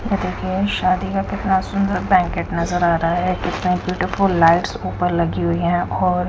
photo खींच शादी में कितना सुंदर बैंकेट नजर आ रहा है कितना ब्यूटीफुल लाइट्स ऊपर लगी हुई है और--